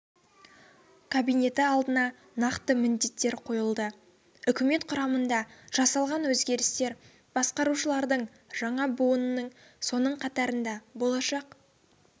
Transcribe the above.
кабинеті алдына нақты міндеттер қойылды үкімет құрамында жасалған өзгерістер басқарушылардың жаңа буынының соның қатарында болашақ